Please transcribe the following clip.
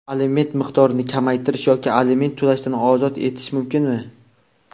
Aliment miqdorini kamaytirish yoki aliment to‘lashdan ozod etish mumkinmi?.